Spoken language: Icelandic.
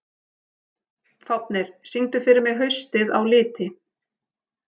Fáfnir, syngdu fyrir mig „Haustið á liti“.